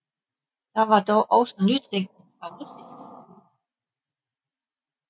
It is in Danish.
Der var dog også nytænkning fra russisk side